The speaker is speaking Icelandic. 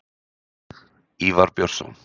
Ívar Björnsson.